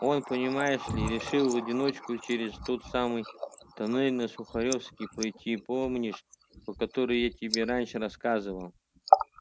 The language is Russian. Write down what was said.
он понимаешь ли решил в одиночку через тот самый туннель на сухаревской пройти помнишь про который я тебе раньше рассказывал